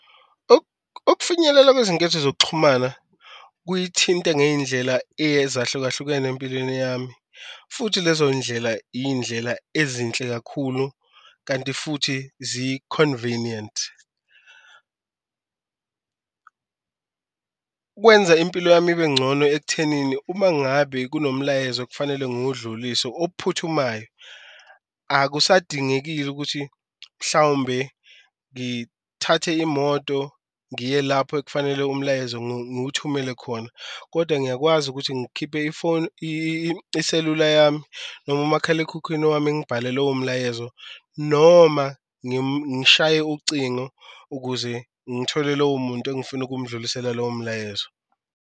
Ukufinyelela kwezinketho zokuxhumana kuyithinte ngeyindlela ezahlukahlukene empilweni yami futhi lezo ndlela indlela ezinhle kakhulu, kanti futhi zi-convenient. Kwenza impilo yami ibe ncono ekuthenini uma ngabe kunomlayezo okufanele nguwudlulise ophuthumayo, akusadingekile ukuthi mhlawumbe ngithathe imoto ngiye lapho ekufanele umlayezo ngiwuthumele khona. Koda ngiyakwazi ukuthi ngikhiphe ifoni iselula yami noma umakhalekhukhwini wami ngibhale lowo mlayezo noma ngishaye ucingo ukuze ngithole lowo muntu engifuna ukumdlulisela lowo mlayezo.